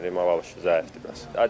Mal ala bilmirik, mal alışı zəifdir bəs.